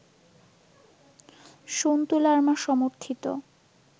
সন্তু লারমা সমর্থিত